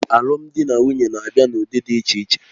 Alụmdi na nwunye na-abịa n'ụdị dị iche iche